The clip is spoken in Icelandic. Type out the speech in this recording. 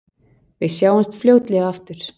Við sjáumst fljótlega aftur.